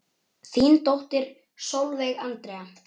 Þín dóttir Sólveig Andrea.